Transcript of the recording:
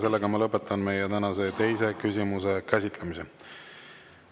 Sellega ma lõpetan meie tänase teise küsimuse käsitlemise.